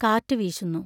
കാറ്റു വീശുന്നു.